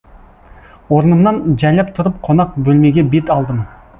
орнымнан жайлап тұрып қонақ бөлмеге бет алдым